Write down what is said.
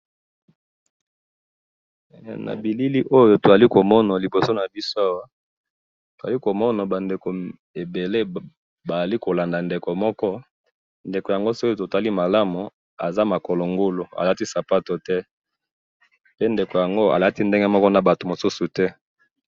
Elili oyo tozomona liboso nabiso, tozali komona bandeko ebele bazali kolanda ndeko moko, ndeko yango soki totali malamu aza makolongulu, alati sapatute, mpe ndeko yango alati ndengemoko nabatu mosusu te.